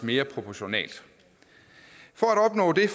mere proportionalt for at opnå det